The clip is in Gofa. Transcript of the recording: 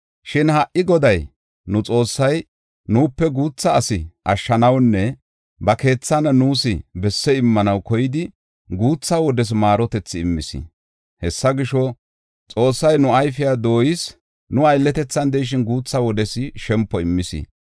“Shin ha77i Goday nu Xoossay nuupe guutha asi ashshanawunne ba keethan nuus besse immanaw koyidi guutha wodes marotethi immis. Hessa gisho Xoossay nu ayfiya dooyis; nu aylletethan de7ishin guutha wodes shempo immis.